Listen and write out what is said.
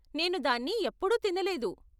నేను దాన్ని ఎప్పుడూ తినలేదు.